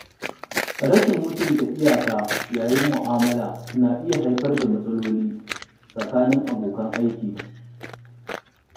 Rashin mutunta iyaka yayin mu'amala na iya haifar da matsaloli tsakanin abokan aiki.